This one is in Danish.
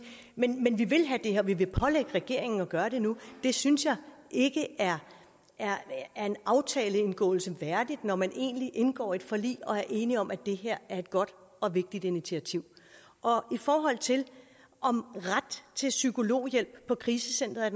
men vi vil have det her vi vil pålægge regeringen at gøre det nu det synes jeg ikke er er en aftaleindgåelse værdigt når man egentlig indgår et forlig og er enige om at det her er et godt og vigtigt initiativ i forhold til om ret til psykologhjælp på krisecenteret